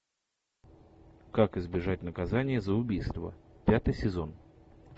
как избежать наказания за убийство пятый сезон